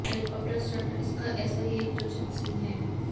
helicopter stunt इसका ऐसा ही एक चर्चित सीन है